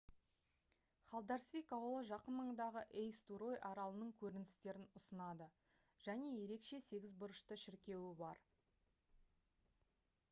халдарсвик ауылы жақын маңдағы эйстурой аралының көріністерін ұсынады және ерекше сегіз бұрышты шіркеуі бар